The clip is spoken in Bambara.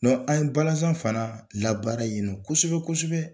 An ye balazan fana labaara yen nɔ kosɛbɛ kosɛbɛ.